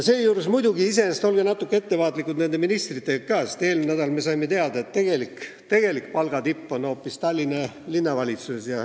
Seejuures olge muidugi ettevaatlikud ka ministritega, sest eelmine nädal me saime teada, et tegelik palgatipp on hoopis Tallinna Linnavalitsuses.